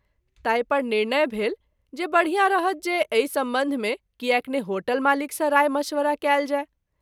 ताहि पर निर्णय भेल जे बढ़ियाँ रहत जे अहि संबंध मे कियाक ने होटल मालिक सँ राय मशविरा कएल जाय।